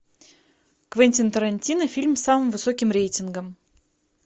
квентин тарантино фильм с самым высоким рейтингом